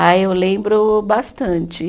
Ah, eu lembro bastante.